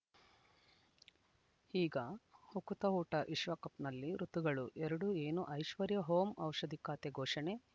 ಈಗ ಉಕುತ ಊಟ ವಿಶ್ವಕಪ್‌ನಲ್ಲಿ ಋತುಗಳು ಎರಡು ಏನು ಐಶ್ವರ್ಯಾ ಓಂ ಔಷಧಿ ಖಾತೆ ಘೋಷಣೆ